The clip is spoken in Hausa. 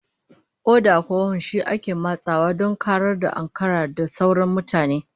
Oda ko hon shi ake matsawa don karar ya ankarar da sauran mutane